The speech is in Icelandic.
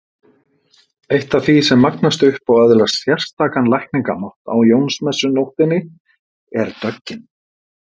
Eitt af því sem magnast upp og öðlast sérstakan lækningamátt á Jónsmessunóttinni er döggin.